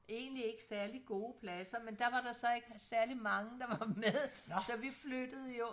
Egentlig ikke særligt gode pladser men der var der så ikke særlig mange der var med så vi flyttede jo